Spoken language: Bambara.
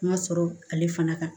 Ma sɔrɔ ale fana kan